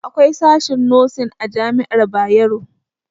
Akwai sashen nosin a jami'ar Bayero